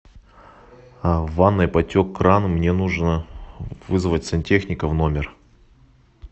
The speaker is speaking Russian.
в ванной потек кран мне нужно вызвать сантехника в номер